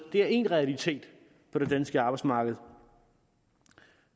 er en realitet på det danske arbejdsmarked